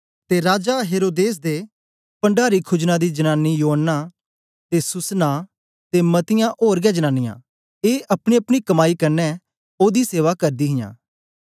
ते राजा हेरोदेस दे पण्डारी खुजना दी जनानी योअन्ना ते सूसन्नाह ते मतीयां ओर गै जनांनीयां ए अपनीअपनी कमाई कन्ने ओदी सेवा करदी हां